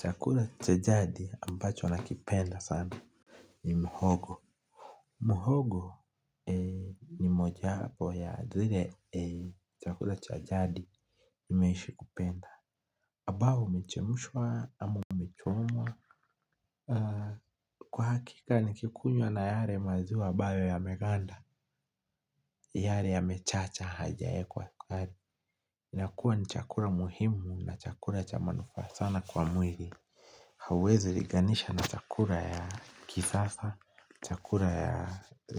Chakula cha jadi ambacho nakipenda sana ni muhogo. Muhogo ni moja ya zile chakula cha jadi nimeishi kupenda. Ambao umechemshwa ama umechomwa. Kwa hakika ni kikunywa na yale maziwa ambayo yameganda. Yale yamechacha haijawekwa sukari. Nakua ni chakula muhimu na chakula cha manufaa sana kwa mwili. Hauwezi liganisha na chakula ya kisasa, chakula ya